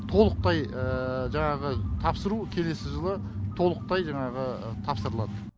толықтай жаңағы тапсыру келесі жылы толықтай жаңағы тапсырылады